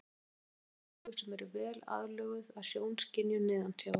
Selir hafa mjög stór augu sem eru vel aðlöguð að sjónskynjun neðansjávar.